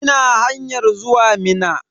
Ina hanyan zuwa Minna.